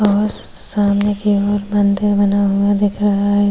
और सामने की ओर मंदिर बना हुआ दिख रहा है।